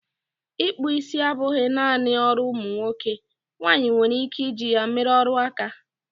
Ị kpụ isi abụghị naanị ọrụ ụmụ nwoke, nwaanyị nwere ike i ji ya mere ọrụ áká.